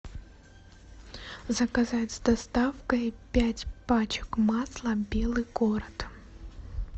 заказать с доставкой пять пачек масла белый город